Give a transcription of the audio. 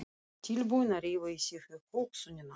Tilbúnir að rífa í sig hugsunina.